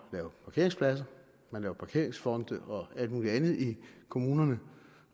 lave parkeringspladser man laver parkeringsfonde og alt muligt andet i kommunerne